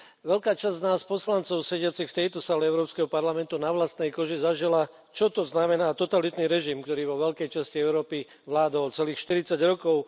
Veľká časť nás poslancov sediacich v tejto sále Európskeho parlamentu na vlastnej koži zažila, čo to znamená totalitný režim, ktorý vo veľkej časti Európy vládol celých 40 rokov.